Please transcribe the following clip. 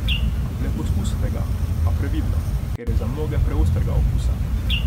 Le pokusite ga, a previdno, ker je za mnoge preostrega okusa!